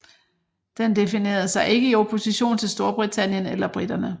Den definerede sig ikke i opposition til Storbritannien eller briterne